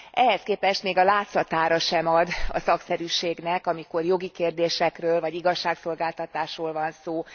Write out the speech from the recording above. Ehhez képest még a látszatára sem ad a szakszerűségnek, amikor jogi kérdésekről vagy igazságszolgáltatásról van szó.